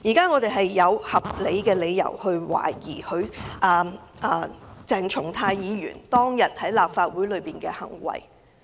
我們現在有合理理由懷疑鄭松泰議員當天在立法會大樓內的行為不當。